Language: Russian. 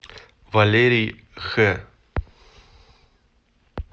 валерий х